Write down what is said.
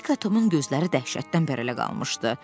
Hekla Tomun gözləri dəhşətdən bərələr qalmışdı.